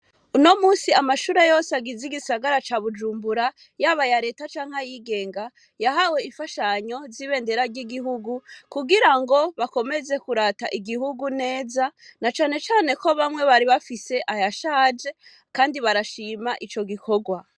Uno musi amashure yose agiza igisagara ca bujumbura yabaya leta canke ayigenga yahawe ifashanyo zibendera ry'igihugu kugira ngo bakomeze kurata igihugu neza na canecane ko bamwe bari bafise aya shaje, kandi barashima ico gikorwa.